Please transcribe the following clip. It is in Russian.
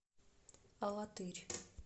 алатырь